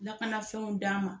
Lakana fɛnw d'a ma.